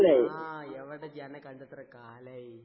ആഹ് എവടിജ്ജ്? അന്നെക്കണ്ടെത്ര കാലായി?